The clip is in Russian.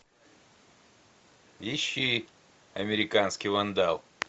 ищи американский вандал